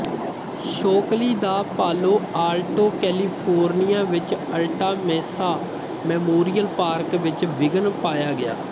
Shockley ਦਾ Palo Alto California ਵਿੱਚ Alta Mesa Memorial Park ਵਿੱਚ ਵਿਘਨ ਪਾਇਆ ਗਿਆ